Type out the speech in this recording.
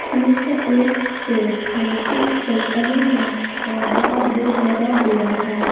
यह एक शॉप है जिस पर अली बैक का बड़ा बोर्ड लगा हुआ है।